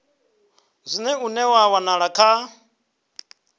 zwino une wa wanala kha